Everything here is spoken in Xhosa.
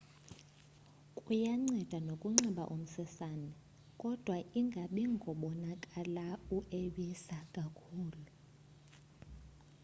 kuyanceda nokunxiba umsesane kodwa ingabi ngobonakala ueabisa kakhulu